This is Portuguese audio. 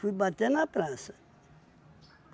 Fui bater na praça.